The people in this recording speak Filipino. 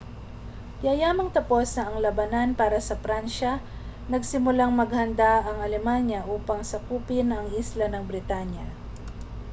yayamang tapos na ang labanan para sa pransiya nagsimulang maghanda ang alemanya upang sakupin ang isla ng britanya